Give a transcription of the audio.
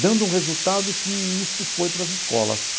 dando um resultado que isto foi para as escolas.